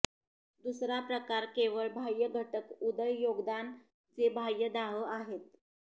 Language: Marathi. दुसरा प्रकार केवळ बाह्य घटक उदय योगदान जे बाह्य दाह आहे